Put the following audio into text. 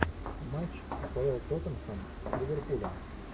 матч апл тоттенхэм с ливерпулем